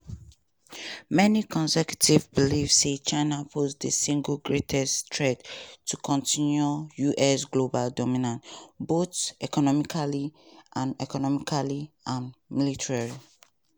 many conservatives believe say china pose di single greatest threat to continue us global dominance both economically and economically and militarily.